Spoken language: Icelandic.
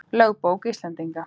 Lögbók Íslendinga.